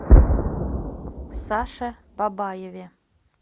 саше бабаеве